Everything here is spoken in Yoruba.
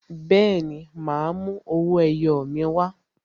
Bẹẹni, ma a mú owó ẹyọ mi wa